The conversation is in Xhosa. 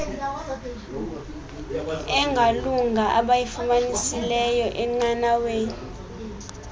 engalunga abayifumanisileyo enqanaweni